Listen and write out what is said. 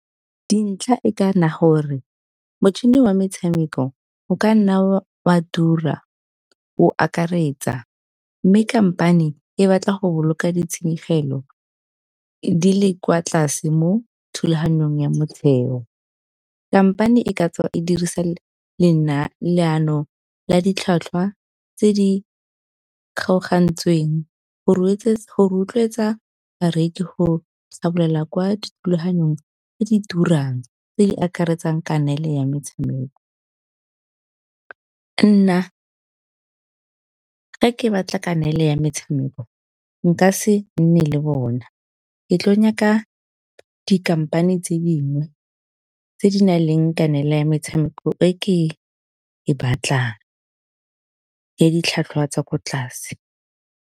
Dintlha e ka nna gore motšhini wa metshameko o kanna o a tura o akaretsa, mme company e batla go boloka di tshenyegelo di le kwa tlase mo thulaganyong ya motshelo. Company e ka tswa e dirisa leano la ditlhwatlhwa tse di kgaogantsweng go rotloetsa bareki go kwa dithulaganyong tse di turang, tse di akaretsang kanele ya metshameko. Nna ga ke batla kanele ya metshameko nka se nne le bona, ke tlo nyaka di-company tse dingwe tse di nang le kanele ya metshameko e ke e batlang, ya ditlhwatlhwa tsa ko tlase.